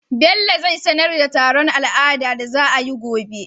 bello zai sanar da taron al'ada da za ayi gobe